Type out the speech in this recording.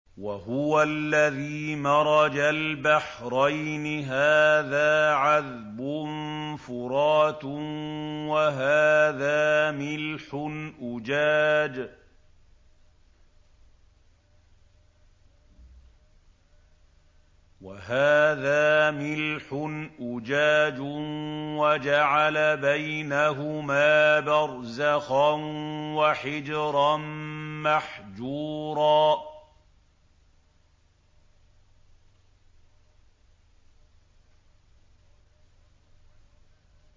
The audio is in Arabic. ۞ وَهُوَ الَّذِي مَرَجَ الْبَحْرَيْنِ هَٰذَا عَذْبٌ فُرَاتٌ وَهَٰذَا مِلْحٌ أُجَاجٌ وَجَعَلَ بَيْنَهُمَا بَرْزَخًا وَحِجْرًا مَّحْجُورًا